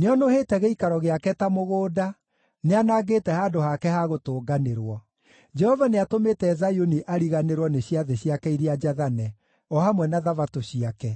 Nĩonũhĩte gĩikaro gĩake ta mũgũnda; nĩanangĩte handũ hake ha gũtũnganĩrwo. Jehova nĩatũmĩte Zayuni ariganĩrwo nĩ ciathĩ ciake iria njathane, o hamwe na Thabatũ ciake;